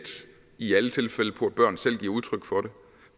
i alle tilfælde på at børn selv giver udtryk for